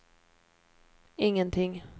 ingenting